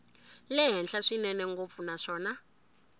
le henhla swinene ngopfu naswona